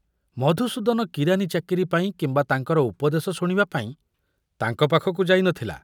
ମଧୁସୂଦନ କିରାନୀ ଚାକିରି ପାଇଁ କିମ୍ବା ତାଙ୍କର ଉପଦେଶ ଶୁଣିବା ପାଇଁ ତାଙ୍କ ପାଖକୁ ଯାଇ ନ ଥିଲା।